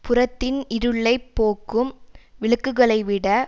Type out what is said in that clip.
புறத்தின் இருளை போக்கும் விளக்குகளை விட